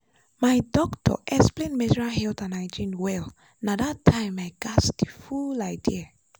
my doctor explain menstrual health and hygiene well na that time i gatz the full idea.